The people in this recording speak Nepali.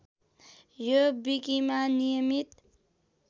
यो विकिमा नियमित